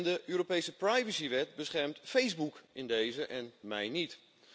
De Europese privacywet beschermt Facebook in dezen en mij niet.